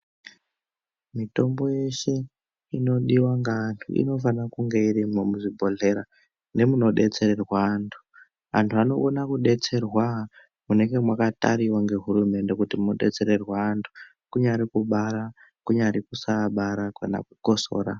Mitombo yeshe inodiwa ngevantu inofana kunge irimo muzvibhodhlera nemudodetsererwe antu antu anokone kudetserwa munenge mwakatariwa ngehurumende kuti kudetsererwe antu kunyari kubari kunyari kusaabara kana kukosora.